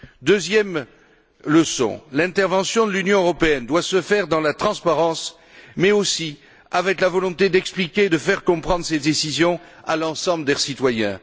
Deuxième leçon l'intervention de l'Union européenne doit se faire dans la transparence, mais aussi avec la volonté d'expliquer et de faire comprendre ces décisions à l'ensemble des citoyens.